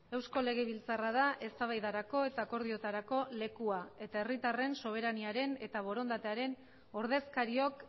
eusko legebiltzarra da eztabaidarako eta akordioetarako lekua eta herritarren soberaniaren eta borondatearen ordezkariok